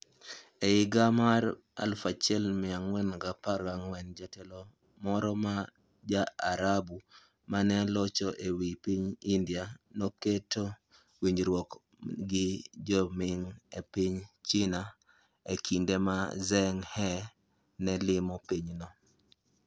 E higa mar 1414, jatelo moro ma Ja-Arabu ma ne locho e wi piny India, noketo winjruok gi Jo-Ming e piny China e kinde ma Zheng He ne limo pinyno.